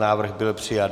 Návrh byl přijat.